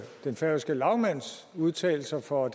den færøske lagmands udtalelser for